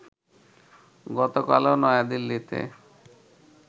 গতকালও নয়াদিল্লিতে